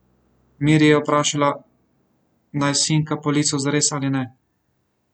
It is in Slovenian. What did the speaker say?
Miri je vprašala, naj sinka po licu zares ali ne.